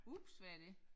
Ups hvad er det